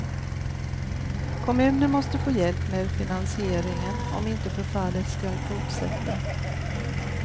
Kommunen måste få hjälp med finansieringen om inte förfallet skall fortsätta.